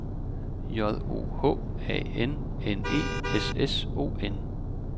J O H A N N E S S O N